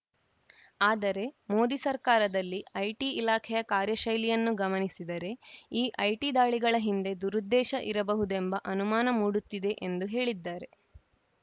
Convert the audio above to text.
ಆದರೆ ಮೋದಿ ಸರ್ಕಾರದಲ್ಲಿ ಐಟಿ ಇಲಾಖೆಯ ಕಾರ್ಯಶೈಲಿಯನ್ನು ಗಮನಿಸಿದರೆ ಈ ಐಟಿ ದಾಳಿಗಳ ಹಿಂದೆ ದುರುದ್ದೇಶ ಇರಬಹುದೆಂಬ ಅನುಮಾನ ಮೂಡುತ್ತಿದೆ ಎಂದು ಹೇಳಿದ್ದಾರೆ